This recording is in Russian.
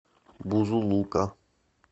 бузулука